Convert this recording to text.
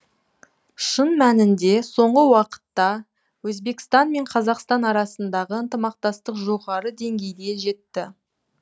шын мәнінде соңғы уақытта өзбекстан мен қазақстан арасындағы ынтымақтастық жоғары деңгейге жетті